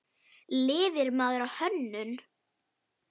Lifir maður á hönnun?